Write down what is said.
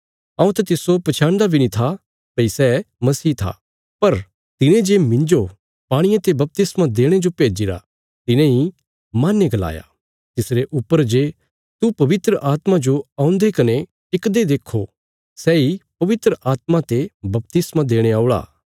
हऊँ त तिस्सो पछयाणदा बी नीं था भई सै मसीह था पर तिने जे मिन्जो पाणिये ते बपतिस्मा देणे जो भेज्जिरा तिने इ माहने गलाया तिसरे ऊपर जे तू पवित्र आत्मा जो औंदे कने टिकदे देक्खो सैई पवित्र आत्मा ते बपतिस्मा देणे औल़ा